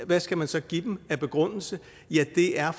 hvad skal man så give dem af begrundelse ja den er